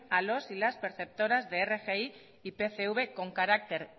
a los y las perceptoras de rgi y pcv con carácter